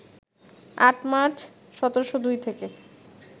৮ March, ১৭০২ থেকে